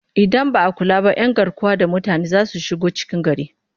Idan ba a kula ba 'yan garkuwa da mutane za su shigo cikin gari